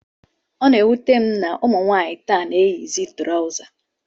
Ọ na-ewute m na ụmụ nwaanyị taa na-eyizi trọza